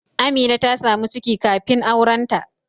Amina ta samu ciki kafin aurenta